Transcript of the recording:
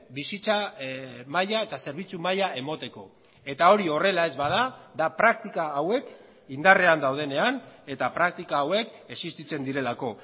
bizitza maila eta zerbitzu maila emateko eta hori horrela ez bada da praktika hauek indarrean daudenean eta praktika hauek existitzen direlako